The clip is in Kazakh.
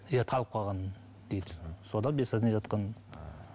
иә талып қалған дейді содан без сознания жатқан